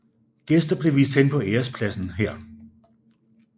Gæster blev vist hen på ærespladsen her